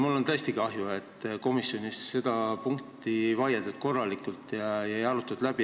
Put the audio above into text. Mul on tõesti kahju, et komisjonis seda punkti korralikult ei vaieldud ja läbi ei arutatud.